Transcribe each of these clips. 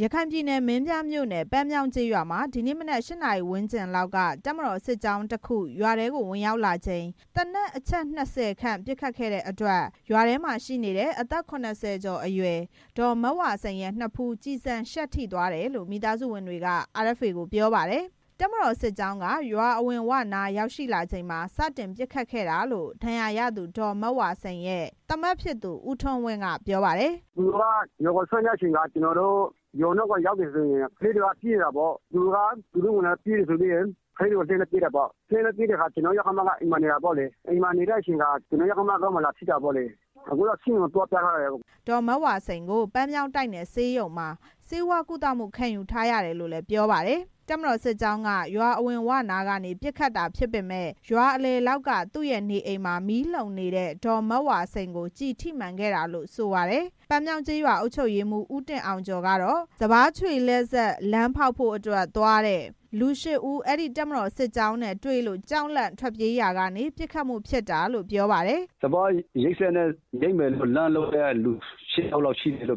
ရခိုင်ပြည်နယ် မင်းပြားမြို့နယ် ပန်းမြောင်းကျေးရွာမှာ ဒီနေ့မနက် ၈ နာရီဝန်းကျင်လောက်က တပ်မတော် စစ်ကြောင်း တစ်ခု ရွာထဲကို ဝင်ရောက်လာချိန် သေနတ်အချက် ၂၀ ခန့်ပစ်ခဲ့တဲ့အတွက် ရွာထဲမှာရှိနေတဲ့ အသက် ၇၀ ကျော် အရွယ် ဒေါ်မဝါစိန်ရဲ့ နဖူး ကျည်ဆံရှပ်ထိသွားတယ်လို့ မိသားစုဝင်တွေက RFA ကိုပြောပါတယ်။ တပ်မတော်စစ်ကြောင်းက ရွာအဝင်ဝနားကိုရောက်ရှိလာချိန်မှာ စတင်ပစ်ခတ်ခဲ့တာလို့ ဒဏ်ရာရသူ ဒေါ်မဝါစိန်ရဲ့ သားမက်ဖြစ်သူ ဦးထွန်းဝင်းကပြောပါတယ်။ “သူတို့က ရွာကိုဆင်းလာတဲ့အချိန်မှာ သူတို့ရွာနားကိုရောက်တာနဲ့ ကလေးတွေကပြေးတာပေါ့။ သူတို့က သူတို့ဝင်လာလို့ပြေးတယ်ဆိုပြီးတော့ ပစ်တယ်။ အဲလိုပစ်နေတဲ့အချိန်မှာ ကျွန်တော့ယောက္ခမက အိမ်မှာရှိနေတာ။ အိမ်မှာရှိနေတဲ့အခါမှာ ကျွန်တော့ယောက္ခမခေါင်းကို လာမှန်တာပေါ့လေ။ အခုတော့ ဆေးရုံကိုသွားပြထားရတယ်” ဒေါ်မဝါစိန်ကို ပန်းမြောင်းတိုက်နယ်ဆေးရုံမှာ ဆေးဝါးကုသမှုခံယူ ထားရတယ်လို့လည်း ပြောပါတယ်။ တပ်မတော်စစ်ကြောင်းက ရွာအဝင်ဝနားကနေ ပစ်ခတ်တာဖြစ်ပေမယ့် ရွာအလယ်လောက်က သူ့ရဲ့နေအိမ်မှာ မီးလှုံနေတဲ့ ဒေါ်မဝါစိန်ကို ကျည်ထိမှန်ခဲ့တာလို့လည်း ဆိုပါတယ်။ ပန်းမြောင်းကျေးရွာအုပ်ချုပ်ရေးမှူး ဦးတင်အောင်ကျော်ကတော့ စပါးခြွေလှည့်စက် သွားလမ်းဖောက်ဖို့ သွားတဲ့ လူ ရှစ်ဦး အဲဒီတပ်မတော်စစ်ကြောင်းနဲ့တွေ့လို့ ကြောက်လန့်ထွက်ပြေးရာကနေ ပစ်ခတ်မှုဖြစ်တာလို့ ပြောပါတယ်။ “စပါးရိတ်သိမ်းစက်သွားလမ်းလုပ်ဖို့သွားတာ လူ ရှစ်ယောက်ရှိတယ်။ တ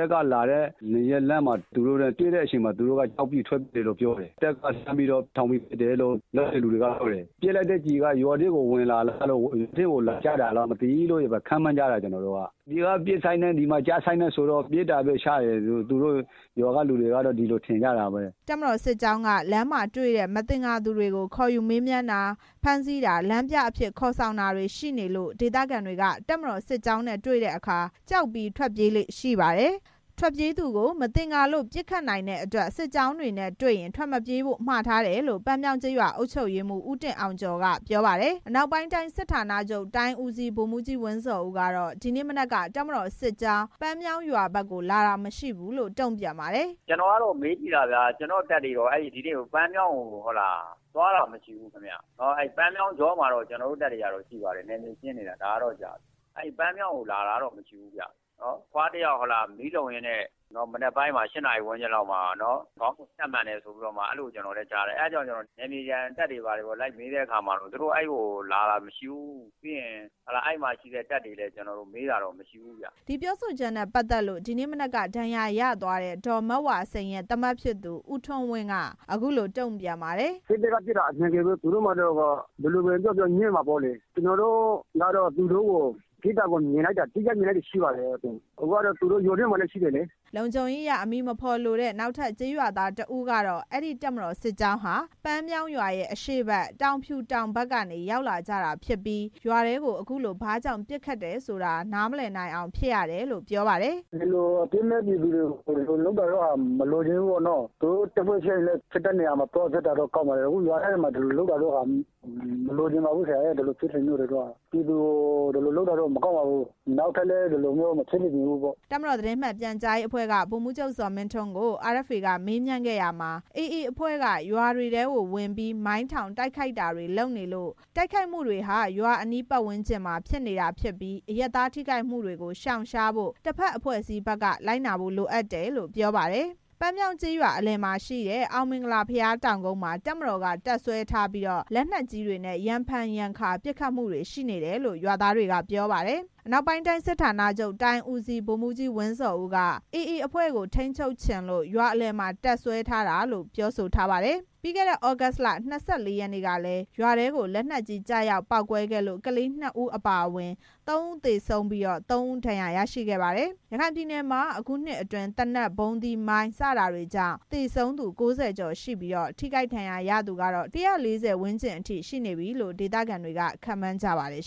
ပ်ကလာတဲ့အချိန်မှာ လမ်းမှာသူတို့နဲ့ တွေ့တော့ ထွက်ပြေးကြတယ်။ တပ်က အပေါ်ထောင်ပြီးပစ်တယ်လို့ ထွက်ပြေးသူတွေကပြောတယ်။ တပ်ကပစ်လိုက်တဲ့ကျည်က ရွာထဲကိုဝင်လာပြီး မှန်သွားတာလားလို့ ကျွန်တော်တို့က ခန့်မှန်းကြတယ်။ သူတို့ကပစ်တာနဲ့ ဒီကမှန်တာနဲ့ တစ်ချိန်တည်းဖြစ်နေတော့ အဲဒီကနေပစ်တာလို့ ရွာသားတွေကထင်ကြတာ” တပ်မတော်စစ်ကြောင်းက လမ်းမှာတွေ့တဲ့မသင်္ကာသူတွေကို ခေါ်ယူမေးမြန်းတာ၊ ဖမ်းဆီးတာ၊ လမ်းပြခေါ် ယူတာတွေရှိနေလို့ ဒေသခံတွေဟာ တပ်မတော်စစ်ကြောင်းနဲ့တွေ့တဲ့အခါ ကြောက်ပြီးထွက်ပြေးကြလေ့ ရှိပါတယ်။ ထွက်ပြေးသူကို မသင်္ကာလို့ ပစ်ခတ်နိုင်တဲ့အတွက် စစ်ကြောင်းတွေနဲ့တွေ့ရင် ထွက်မပြေးကြဖို့ မှာထားတယ်လို့ ပန်းမြောင်းကျေးရွာအုပ်ချုပ်ရေးမှူး ဦးတင်အောင်ကျော်က ပြောပါတယ်။ အနောက်ပိုင်းတိုင်းစစ်ဌာနချုပ် တိုင်းဦးစီး ဗိုလ်မှူးကြီး ဝင်းဇော်ဦးကတော့ ဒီနေ့မနက်က တပ်မတော်စစ်ကြောင်း ပန်းမြောင်းရွာဘက်ကိုလာတာမရှိဘူးလို့ တုံ့ပြန်ပါတယ်။ “ကျွန်တော်မေးကြည့်တော့ ကျွန်တော်တို့တပ်တွေက ဒီနေ့ပန်းမြောင်းဘက်ကိုသွားတာ မရှိဘူးဗျ။ ပန်းမြောင်း တောင်ကြောမှာတော့ တပ်တွေရှိပါတယ်။ နယ်မြေရှင်းနေတာ ဒါကတော့ကြာပါပြီ။ အဲဒီပန်းမြောင်းကို လာတာကတော့ မရှိဘူးဗျ။ အဘွားတစ်ယောက် မီးလှုံရင်းနဲ့ မနက်ပိုင်း ၈ နာရီဝန်းကျင်လောက်မှာ ခေါင်းကို ကျည်ရှပ်မှန်တယ်ဆိုပြီးတော့ အဲလိုမျိုးကျွန်တော်လည်း ကြားတယ်။ အဲဒါကြောင့် ကျွန်တော်က နယ်မြေခံ တပ်တွေ ဘာတွေကိုလိုက်မေးတဲ့အခါမှာ သူတို့ အဲဒီကိုလာတာမရှိဘူး၊ ပြီးရင် အဲဒီမှာရှိတဲ့တပ်တွေကို မေးတဲ့အခါမှာလည်း အဲလိုမျိုးမရှိဘူးဗျ” ဒီပြောဆိုချက်နဲ့ပတ်သက်လို့ ဒီနေ့မနက်က ဒဏ်ရာရသွားတဲ့ ဒေါ်မဝါစိန်ရဲ့သားမက်ဖြစ်သူ ဦးထွန်းဝင်းက အခုလို တုံ့ပြန်ပါတယ်။ စစ်တပ်ကပစ်တာက အမှန်ပဲ။ သူတို့မှာတော့ ဘယ်လိုပဲပြောပြောငြင်းမှာပေါ့လေ “စစ်တပ်ကပစ်တာက အမှန်ပဲ။ သူတို့မှာတော့ ဘယ်လိုပဲပြောပြောငြင်းမှာပေါ့လေ။ ကျွန်တော်တို့ကတော့ သူတို့ပစ်တာကို အတိအကျမြင်လိုက်တာရှိပါတယ်။ အခုလည်း သူတို့ရွာထဲမှာရှိနေတယ်လေ” လုံခြုံရေးအရ အမည်မဖော်လိုတဲ့ နောက်ထပ်ကျေးရွာသားတစ်ဦးကတော့ အဲဒီတပ်မတော်စစ်ကြောင်းဟာ ပန်းမြောင်းရွာရဲ့အရှေ့ဘက် တောင်ဖြူတောင်ဘက်ကနေ ရောက်လာကြတာဖြစ်ပြီး ရွာထဲကို အခုလို ဘာကြောင့် ပစ်ခတ်တယ်ဆိုတာကို နားမလည်နိုင်အောင်ဖြစ်ရတယ်လို့ ပြောပါတယ်။ “ဒီလိုအပြစ်မဲ့ပြည်သူတွေကို လုပ်တာတော့ မလိုချင်ဘူးပေါ့နော။ သူတို့တပ်ဖွဲ့ချင်းဖြစ်တဲ့နေရာမှာ သွားဖြစ်တာ ကောင်းတယ်။ အခုရွာထဲမှာ ဒီလိုလုပ်တာတော့ မလိုချင်ပါဘူး။ ဒီလိုလုပ်တာတော့ မကောင်းပါဘူး။ နောက်ထပ်လည်း ဒီလိုမျိုးမဖြစ်စေချင်ပါဘူး” တပ်မတော်သတင်းမှန်ပြန်ကြားရေးအဖွဲ့က ဗိုလ်မှူးချုပ် ဇော်မင်းထွန်းကို RFA ကမေးမြန်းခဲ့ရာမှာ အေအေအဖွဲ့က ရွာတွေထဲကနေပြီး မိုင်းထောင်တိုက်ခိုက်တာတွေလုပ်လို့ တိုက်ခိုက်မှုတွေဟာ ရွာအနီးပတ်ဝန်းကျင်တွေမှာ ဖြစ်နေရတာဖြစ်ပြီး အရပ်သားထိခိုက်တာတွေကို ရှောင်ရှားဖို့ တစ်ဘက်အဖွဲ့အစည်းဘက်ကသာ လိုက်နာဖို့လိုတယ်လို့ ပြောပါတယ်။ ပန်းမြောင်းကျေးရွာအလယ်မှာရှိတဲ့ အောင်မင်္ဂလာဘုရားတောင်ကုန်းမှာ တပ်မတော်က တပ်စွဲထားပြီး လက်နက်ကြီးတွေနဲ့ ရံဖန်ရံခါပစ်ခတ်မှုတွေရှိတယ်လို့ ရွာသားတွေက ပြောပါတယ်။ အနောက်ပိုင်းတိုင်း စစ်ဌာနချုပ်တိုင်းဦးစီး ဗိုလ်မှူးကြီး ဝင်းဇော်ဦးက အေအေအဖွဲ့ကို ထိန်းချုပ်ချင်လို့ ရွာလယ်မှာ တပ်စွဲထားတာလို့ ပြောဆိုထားပါတယ်။ ပြီးခဲ့တဲ့ သြဂုတ်လ ၂၄ ရက်နေ့ကလည်း ရွာထဲကို လက်နက်ကြီးကျရောက်ပေါက်ကွဲလို့ ကလေး နှစ်ဦး အပါအဝင် သုံးဦး သေဆုံးခဲ့ပြီး သုံးဦး ဒဏ်ရာရခဲ့ပါတယ်။ ရခိုင်ပြည်နယ်မှာ အခုနှစ်အတွင်း သေနတ်၊ ဗုံးသီး၊ မိုင်း စတာတွေကြောင့် သေဆုံးသူ ၉၀ ကျော် ရှိပြီး ထိခိုက်ဒဏ်ရာရသူတွေကတော့ ၁၄၀ ဝန်းကျင်အထိ ရှိနေပြီလို့ ဒေသခံတွေက ခန့်မှန်းထားကြပါတယ်